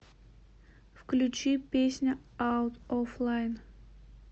включи песня аут оф лайн